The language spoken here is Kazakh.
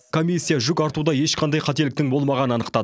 комиссия жүк артуда ешқандай қателіктің болмағанын анықтады